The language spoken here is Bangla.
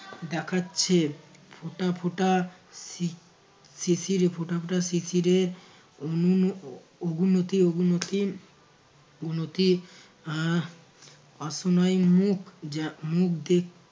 দেখাচ্ছে ফোঁটা ফোঁটা শি~ শিশিরে ফোঁটা ফোঁটা শিশিরে অনুন~ অগুনতি অগুনতি অগুনতি আহ পাসনাই মুখ যা মুখ দে